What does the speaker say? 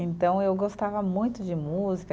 Então, eu gostava muito de música.